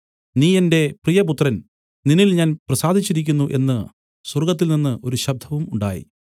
നീ എന്റെ പ്രിയപുത്രൻ നിന്നിൽ ഞാൻ പ്രസാദിച്ചിരിക്കുന്നു എന്നു സ്വർഗ്ഗത്തിൽനിന്നു ഒരു ശബ്ദവും ഉണ്ടായി